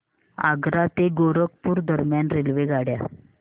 आग्रा ते गोरखपुर दरम्यान रेल्वेगाड्या